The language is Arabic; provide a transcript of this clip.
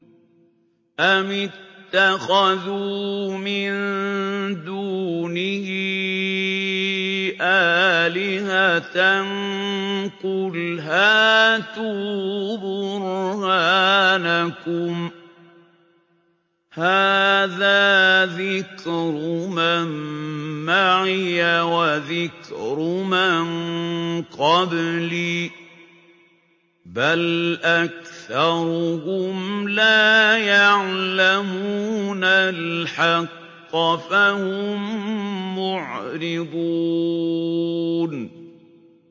أَمِ اتَّخَذُوا مِن دُونِهِ آلِهَةً ۖ قُلْ هَاتُوا بُرْهَانَكُمْ ۖ هَٰذَا ذِكْرُ مَن مَّعِيَ وَذِكْرُ مَن قَبْلِي ۗ بَلْ أَكْثَرُهُمْ لَا يَعْلَمُونَ الْحَقَّ ۖ فَهُم مُّعْرِضُونَ